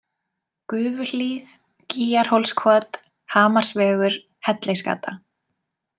Gufuhlíð, Gýgjarhólskot, Hamarsvegur, Hellisgata